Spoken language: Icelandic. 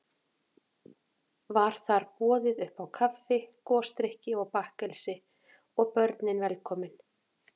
Var þar boðið uppá kaffi, gosdrykki og bakkelsi, og börnin velkomin.